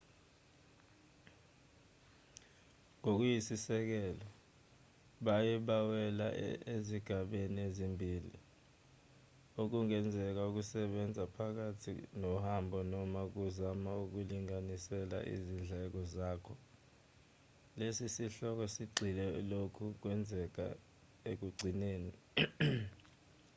ngokuyisisekelo baye bawela ezigabeni ezimbili okungenzeka ukusebenza phakathi nohambo noma ukuzama ukulinganisela izindleko zakho lesi sihloko sigxile kulokho okwenzeka ekugcineni